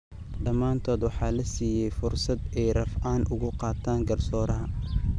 Dhammaantood waxaa la siiyay fursad ay rafcaan uga qaataan garsooraha.